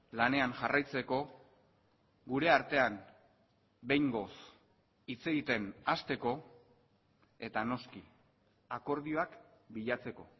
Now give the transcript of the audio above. lanean jarraitzeko gure artean behingoz hitz egiten hasteko eta noski akordioak bilatzeko